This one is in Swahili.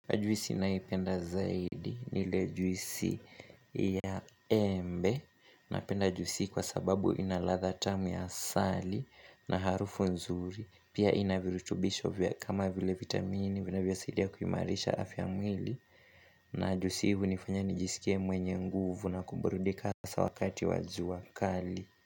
Juisi nayoipenda zaidi niile juisi ya embe napenda juisi hii kwa sababu inaladha tamu ya asali na harufu nzuri Pia inavirutubisho vya kama vile vitamini vinavyo saidia kuimarisha afya ya mwili na juisi hii hunifanya nijisikie mwenye nguvu na kuburudika hasaa wakati wa jua kali.